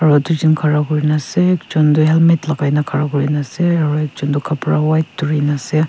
aro tujon khara kurina ase ekjon tu helmet lakai na khara kurna ase aro ekjon toh kapra white bhirikae na ase.